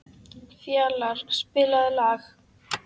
Fjalarr, spilaðu lag.